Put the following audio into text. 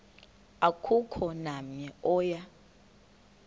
akukho namnye oya